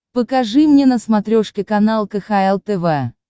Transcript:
покажи мне на смотрешке канал кхл тв